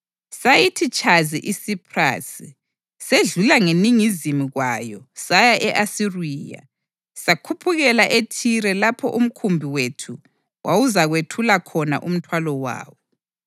Sayithi tshazi iSiphrasi, sedlula ngeningizimu kwayo, saya e-Asiriya. Sakhuphukela eThire lapho umkhumbi wethu wawuzakwethula khona umthwalo wawo.